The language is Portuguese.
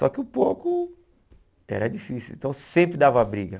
Só que o pouco era difícil, então sempre dava briga.